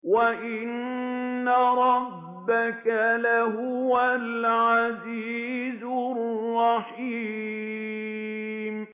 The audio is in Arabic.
وَإِنَّ رَبَّكَ لَهُوَ الْعَزِيزُ الرَّحِيمُ